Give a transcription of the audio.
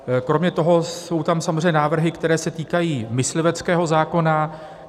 Kromě toho jsou tam samozřejmě návrhy, které se týkají mysliveckého zákona.